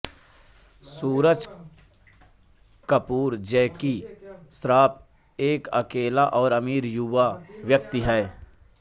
सूरज कपूर जैकी श्रॉफ एक अकेला और अमीर युवा व्यक्ति है